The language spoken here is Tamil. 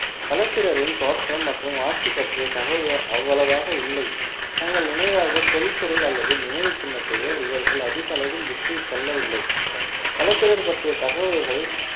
களப்பிரரின் தோற்றம் மற்றும் ஆட்சி பற்றிய தகவல் அவ்வளவாக இல்லை தங்கள் நினைவாக தொல்பொருள் அல்லது நினைவுச் சின்னத்தையோ இவர்கள் அதிக அளவில் விட்டு செல்லவில்லை களப்பிரர் பற்றிய தகவல்கள்